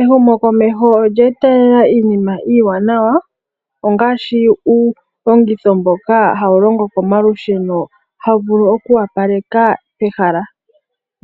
Ehumokomeho olyeetelela iinima iiwanawa ongaashi uulongitho mboka hawu longo komalusheno hawu vulu okwoopaleka pehala.